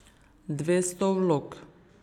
Dvesto vlog.